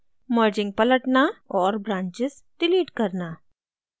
merging पलटना और branches delete करना